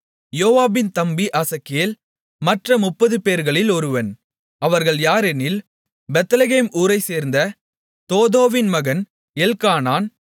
யோவாபின் தம்பி ஆசகேல் மற்ற 30 பேர்களில் ஒருவன் அவர்கள் யாரெனில் பெத்லகேம் ஊரைச்சேர்ந்த தோதோவின் மகன் எல்க்கானான்